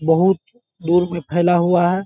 बहुत दूर में फ़ैला हुआ है।